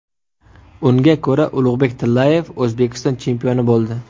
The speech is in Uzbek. Unga ko‘ra, Ulug‘bek Tillayev O‘zbekiston chempioni bo‘ldi.